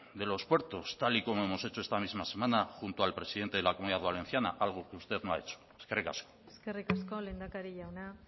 de los puertos tal y como hemos hecho esta misma semana junto al presidente de la comunidad valenciana algo que usted no ha hecho eskerrik asko eskerrik asko lehendakari jauna